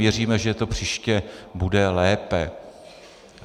Věříme, že to příště bude lepší.